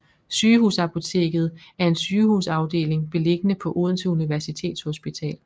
Sygehusapoteket er en sygehusafdeling beliggende på Odense Universitetshospital